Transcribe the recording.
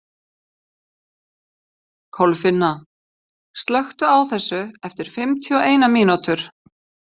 Kolfinna, slökktu á þessu eftir fimmtíu og eina mínútur.